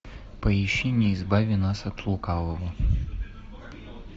поищи не избави нас от лукавого